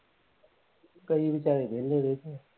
ਕਈ ਵਿਚਾਰੇ ਵੇਹਲੇ ਬੈਠੇ ਆ।